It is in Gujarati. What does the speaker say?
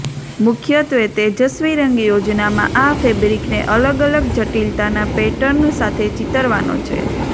મુખ્યત્વે તેજસ્વી રંગ યોજનામાં આ ફેબ્રિકને અલગ અલગ જટિલતાના પેટર્ન સાથે ચિતરવાનો છે